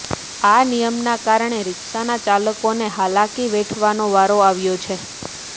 આ નિયમના કારણે રિક્ષાના ચાલકોને હાલાકી વેઠવાનો વારો આવ્યો છે